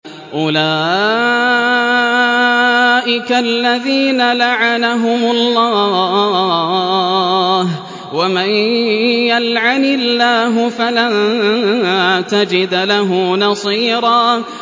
أُولَٰئِكَ الَّذِينَ لَعَنَهُمُ اللَّهُ ۖ وَمَن يَلْعَنِ اللَّهُ فَلَن تَجِدَ لَهُ نَصِيرًا